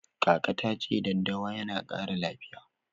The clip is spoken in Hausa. Kaka ta ce daddawa yana ƙara lafiya.